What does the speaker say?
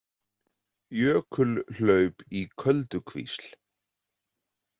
Jökulhlaup í Köldukvísl.